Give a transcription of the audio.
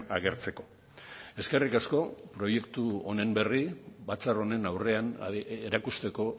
agertzeko eskerrik asko proiektu honen berri batzar honen aurrean erakusteko